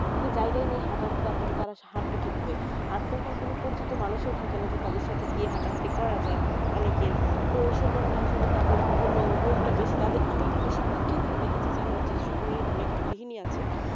তাদের জায়গাই নেই হাঁটার তাহলে তারা হাঁটবে কিভাবে আর তেমন কোনো পরিচিত মানুষও থাকেনা যে তাদের সাথে গিয়ে হাঁটাহাঁটি করা যায় অনেকের তো যেকারণে আসলে তাদের ~ রোগটা বেশি তাদের আমি বেশিরভাগ খেত্রে দেখেছি জানো যে শহরে অনেক গৃহিণী আছে